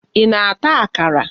Ị na-ata akara?